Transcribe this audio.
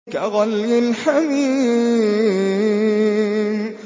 كَغَلْيِ الْحَمِيمِ